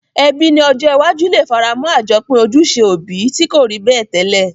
Ebí ni ojó iwájú le faramó àjopín ojúse òbi ti ko rí bẹ́ẹ̀ tẹ́lẹ̀